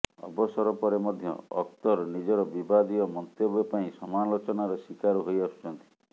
ଅବସର ପରେ ମଧ୍ୟ ଅଖତର ନିଜର ବିବାଦୀୟ ମନ୍ତବ୍ୟ ପାଇଁ ସମାଲୋଚନାର ଶିକାର ହୋଇଆସୁଛନ୍ତି